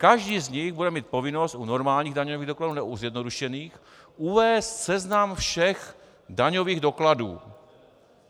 Každý z nich bude mít povinnost u normálních daňových dokladů, ne u zjednodušených, uvést seznam všech daňových dokladů.